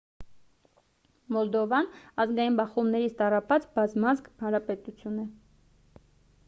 մոլդովան ազգային բախումներից տառապած բազմազգ հանրապետություն է